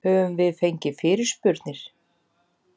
Höfum við fengið fyrirspurnir?